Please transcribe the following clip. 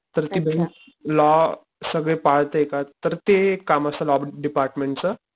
तर ती bank law सगळे पाळते का तर ते काम असत लॉ डिपार्टमेंट च